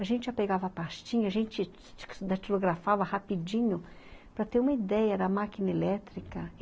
A gente já pegava a pastinha, a gente datilografava rapidinho para ter uma ideia, era máquina elétrica.